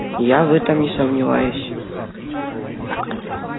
я в этом не сомневаюсь